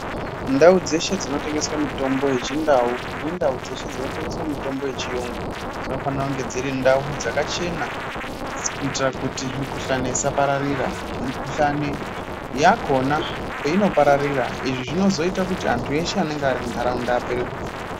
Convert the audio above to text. Ndau dzeshe dzinotengeswa mitombo yechindau nemitombo yechiyungu dzinofana kunge dziri ndau dzakachena kuitira kuti mikhuhlani isapararira . Mikuhlani yakona painopararira Izvi zvinozoita kuti antu eshe anenge ari mundaraunda apere kuda .